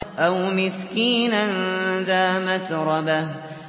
أَوْ مِسْكِينًا ذَا مَتْرَبَةٍ